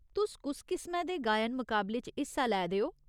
तुस कुस किसमै दे गायन मकाबले च हिस्सा लै दे ओ ?